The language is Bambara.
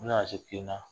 N nana se k'i na